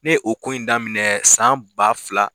Ne ye o ko in daminɛ san ba fila